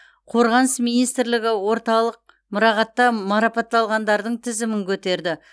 қорғаныс министрлігі орталық мұрағатта марапатталғандардың тізімін көтерді